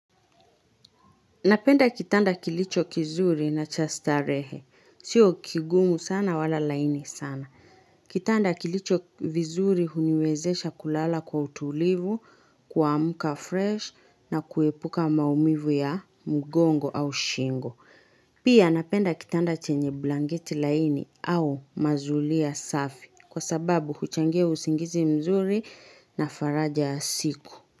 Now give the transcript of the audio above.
Napenda kitanda kilicho kizuri na chastarehe. Sio kigumu sana wala laini sana. Kitanda kilicho vizuri huniwezesha kulala kwa utulivu, kuamka fresh na kuepuka maumivu ya mgongo au shingo. Pia napenda kitanda chenye blanketi laini au mazulia safi kwa sababu huchangia usingizi mzuri na faraja ya siku.